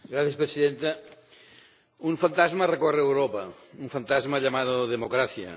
Señora Presidenta, un fantasma recorre Europa, un fantasma llamado democracia.